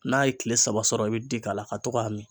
N'a ye kile saba sɔrɔ i be ji k'a la ka to k'a min.